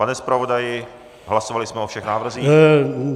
Pane zpravodaji, hlasovali jsme o všech návrzích?